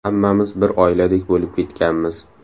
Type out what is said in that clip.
Hammamiz bir oiladek bo‘lib ketganmiz.